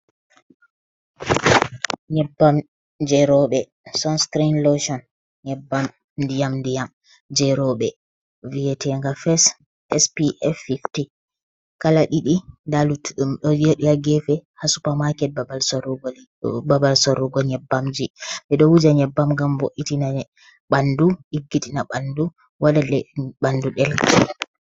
Nyebbam je roɓɓe sonscrin loteon, nyebbam ndiyam je roɓɓe viyetenga fas spf-50 kala ɗiɗi nda lutu ɗum ɗo joɗi ha gefe, ha supermarket babal sorrugo nyebbamji. Ɓeɗo wuja nyebbam ngam bo’itina ɓanɗu, ɗiggitina ɓanɗu, waɗa ɗe ɓanɗu ɗelka.